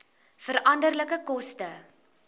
veranderlike koste